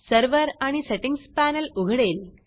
server आणि settings panel उघडेल